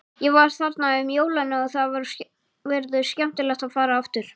Ég var þarna um jólin og það verður skemmtilegt að fara aftur.